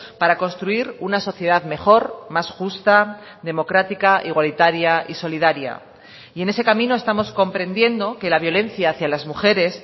para construir una sociedad mejor más justa democrática igualitaria y solidaria y en ese camino estamos comprendiendo que la violencia hacia las mujeres